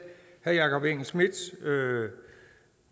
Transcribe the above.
herre jakob engel schmidts